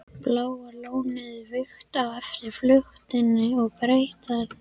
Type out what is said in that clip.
Bláa lónið vígt eftir flutning og breytingar.